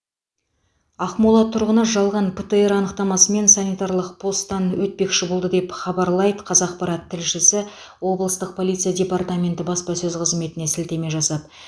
ақмола тұрғыны жалған птр анықтамасымен санитарлық постан өтпекші болды деп хабарлайды қазақпарат тілшісі облыстық полиция департаменті баспасөз қызметіне сілтеме жасап